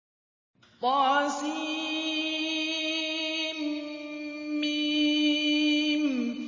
طسم